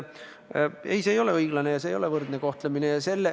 Ei, see ei ole õiglane ja see ei ole võrdne kohtlemine.